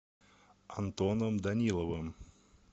антоном даниловым